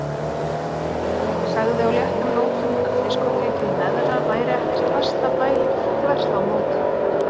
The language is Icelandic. Sagði á léttum nótum að diskótekið í neðra væri ekkert lastabæli, þvert á móti.